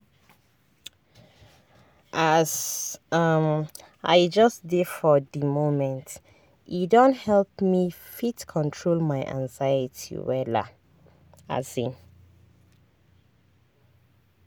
as um i just dey for di momente don help me fit control my anxiety wella. um